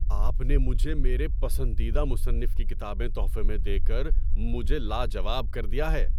آپ نے مجھے میرے پسندیدہ مصنف کی کتابیں تحفے میں دے کر مجھے لاجواب کر دیا ہے!